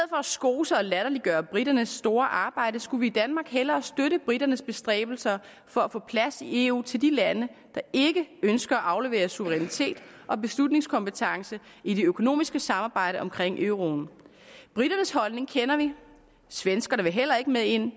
skose og latterliggøre briternes store arbejde skulle vi i danmark hellere støtte briternes bestræbelser for at få plads i eu til de lande der ikke ønsker at aflevere suverænitet og beslutningskompetence i det økonomiske samarbejde omkring euroen briternes holdning kender vi svenskerne vil heller ikke med ind